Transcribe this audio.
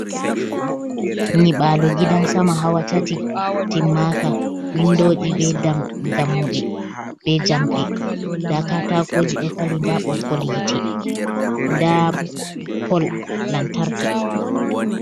Nyibalo gidan sama hawa tati timmaka, windoji be dammuɗe be jamɗe, nda katakoji ɗo fali, nda boggol hite, nda pol lantarki.